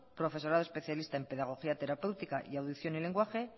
profesorado especialista en pedagogía terapéutica y audición y lenguaje